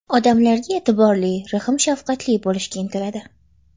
Odamlarga e’tiborli, rahm-shafqatli bo‘lishga intiladi.